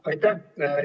Aitäh!